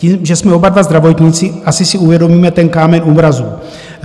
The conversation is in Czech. Tím, že jsme oba dva zdravotníci, asi si uvědomíme ten kámen úrazu.